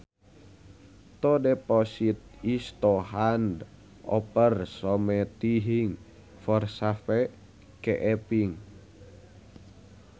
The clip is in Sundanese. To deposit is to hand over something for safe keeping